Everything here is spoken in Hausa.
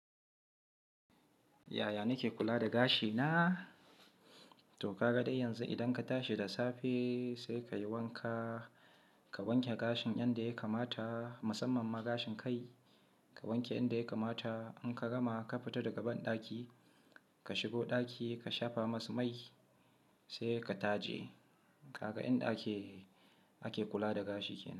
Yaya nake kula da gashi na? To ka ga dai yanzu idan ka tashi da safe sai ka yi wanka, ka wanke gashin yanda ya kamata musamman ma gashin kai ka wanke inda ya kamata. In ka gama ka fita daga banɗaki ka shigo ɗaki ka shafa masa mai sai ka taje. Kaga inda ake, ake kula da gashi kenan.